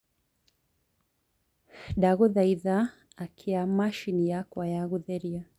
ndagũthaĩtha akĩa machĩnĩ yakwa ya gutherĩa